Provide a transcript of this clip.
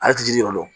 Ale ti jiri yɔrɔ